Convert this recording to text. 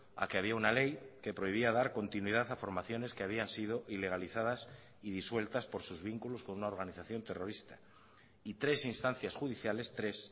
a que había una ley que prohibía dar continuidad a formaciones que habían sido ilegalizadas y disueltas por sus vínculos con unaorganización terrorista y tres instancias judiciales tres